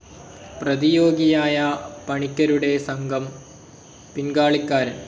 പ്രതിയോഗിയായ പണിക്കരുടെ സംഘം പിൻകാളിക്കാരൻ.